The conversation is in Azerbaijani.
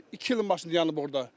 İki ildir maşın dayanıb orda.